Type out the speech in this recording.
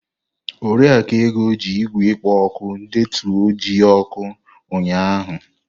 Oriakụ Ego ji igwe ikpō oku deetu iji oku unya ụnyahụ.